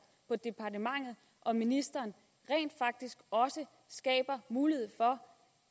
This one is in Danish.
på departementet og ministeren rent faktisk også skaber mulighed for